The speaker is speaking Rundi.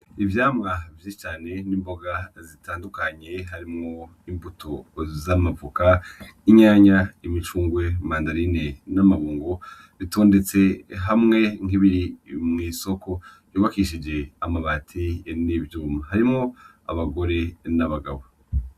Ivyamwa vyinshi cane n'imboga zitandukanye harimwo imbuto z'amavoka, itomati, imicungwe, imandarine n'ibirungo bitondetse hamwe nk'ibiri mw'isoko yubakishijwe amabati n'ivyuma. Harimwo abagore n'abagabo.